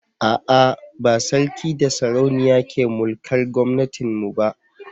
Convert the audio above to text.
ah ah ba sarki da sarauniya ke mulkar gomnatin mu ba